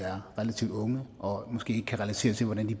er relativt unge og måske ikke kan relatere til hvordan de